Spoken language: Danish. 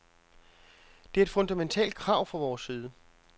Det er et fundamentalt krav fra vores side.